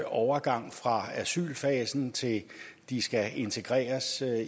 overgang fra asylfasen til de skal integreres